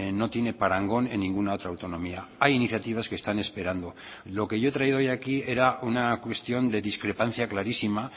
no tiene parangón en ninguna otra autonomía hay iniciativas que están esperando lo que yo he traído hoy aquí era una cuestión de discrepancia clarísima